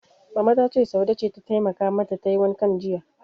Mama ta ce, Saude ce ta taimaka mata tayi wankan jiya.